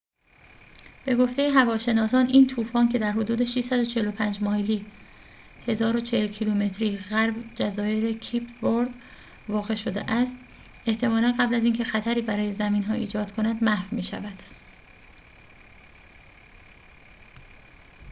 به گفته هواشناسان، این طوفان، که در حدود 645 مایلی 1040 کیلومتری غرب جزایر کیپ ورد واقع شده است، احتمالاً قبل از اینکه خطری برای زمین‌ها ایجاد کند محو می‌شود